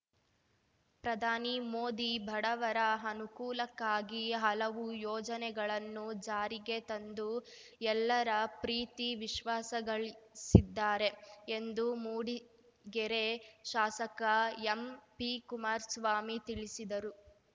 ಪ್ರಧಾನಿ ಮೋದಿ ಬಡವರ ಅನುಕೂಲಕ್ಕಾಗಿ ಹಲವು ಯೋಜನೆಗಳನ್ನು ಜಾರಿಗೆ ತಂದು ಎಲ್ಲರ ಪ್ರೀತಿ ವಿಶ್ವಾಸಗಳಿಸಿದ್ದಾರೆ ಎಂದು ಮೂಡಿಗೆರೆ ಶಾಸಕ ಎಂಪಿಕುಮಾರ್ ಸ್ವಾಮಿ ತಿಳಿಸಿದರು